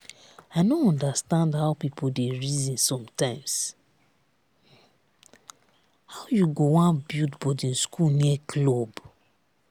i no understand how people dey reason sometimes. how you go wan build boarding school near club?